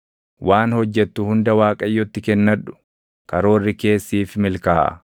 Waan hojjettu hunda Waaqayyotti kennadhu; karoorri kees siif milkaaʼa.